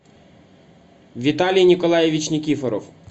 виталий николаевич никифоров